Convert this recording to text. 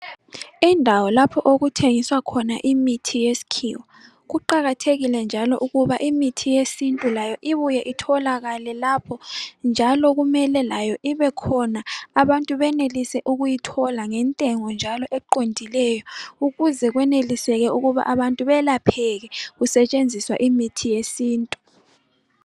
Indawo lapho okuthengiswa khona imithi yesikhiwa kuqakathekile njalo ukuthi imithi yesintu layo ibuye itholakale lapho ibekhona abantu benelise ukuyithola ngentengo eqondileyo ukuze kweneliseke ukuthi abantu belapheke kusetshenziswa imithi yesintu.